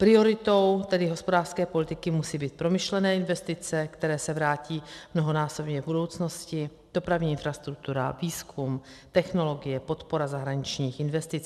Prioritou tedy hospodářské politiky musí být promyšlené investice, které se vrátí mnohonásobně v budoucnosti, dopravní infrastruktura, výzkum, technologie, podpora zahraničních investic.